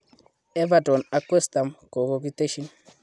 Everton ak West Ham kokokiteshi.